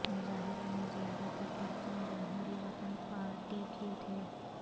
مظاہرے میں زیادہ تر پرچم جمہوری وطن پارٹی کے تھے